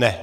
Ne.